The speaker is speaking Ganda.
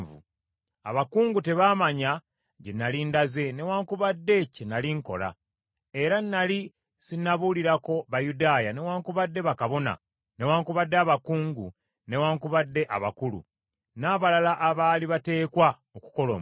Abakungu tebaamanya gye nnali ndaze newaakubadde kye nnali nkola; era nnali sinnabuulirako Bayudaaya newaakubadde bakabona, newaakubadde abakungu newaakubadde abakulu, n’abalala abaali bateekwa okukola omulimu.